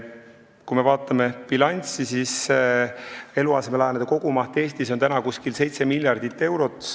Kui me vaatame bilanssi, siis eluasemelaenude kogumaht Eestis on umbes 7 miljardit eurot.